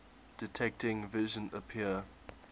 detecting vision appear